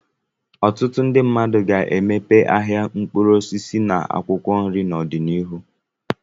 Ọtụtụ ndị mmadụ ga-emepe ahịa mkpụrụ osisi na akwụkwọ nri n'ọdịnihu.